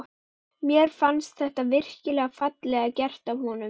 Mér fannst þetta virkilega fallega gert af honum.